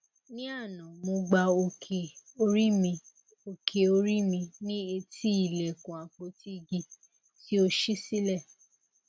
ní àná mo gbá òkè orí mi òkè orí mi ní etí ilẹkùn àpótí igi tí ó ṣí sílẹ